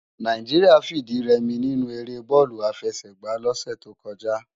Nàijiriá fi idi rè mi ninú éré bòlú àfèsègbá lòsè tókòjá